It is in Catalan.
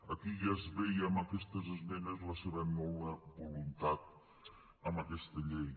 aquí ja es veia amb aquestes esmenes la seva nul·la voluntat amb aquesta llei